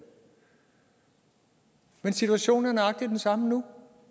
men situationen er nøjagtig den samme nu